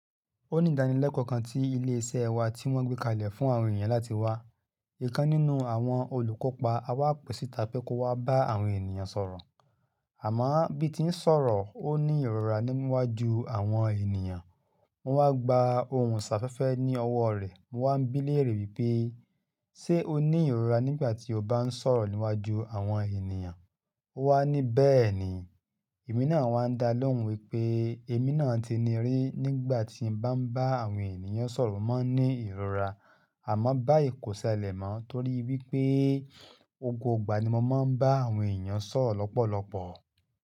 Ó ní ìdánilẹ́kọ̀ọ́ kan tí ilé iṣẹ́ wa tí wọ́n gbé kalẹ̀ fún àwọn èèyàn láti wá. Ìkan nínú àwọn olùkópa a wà pèsi tá pẹ́ kó wá bá àwọn ènìyàn sọ̀rọ̀. Àmọ́ bí tí ń sọ̀rọ̀, ó ní ìrora níwájú àwọn ènìyàn. Mo wá gba ohùn sáfẹ́fẹ́ ní ọwọ́ rẹ̀. Mo wá ń bí léèrè wípé, ṣe ó ní ìrora nígbà tí ó bá ń sọ̀rọ̀ níwájú àwọn ènìyàn? Ó wá ní bẹ́ẹ̀ ni. Èmi náà wá ń da lóhùn wípé èmi náà ti ni rí nígbà tí mo bá ń bá àwọn ènìyàn sọ̀rọ̀ mo máa ń ní ìrora. Àmọ́ báyìí kò ṣẹlẹ̀ mọ́ torí wípé Gbogbo ìgbà ni mo máa ń bá àwọn ènìyàn sọ̀rọ̀ lọ́pọ̀lọpọ̀.